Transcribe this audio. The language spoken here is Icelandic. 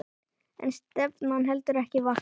En stefnan heldur ekki vatni.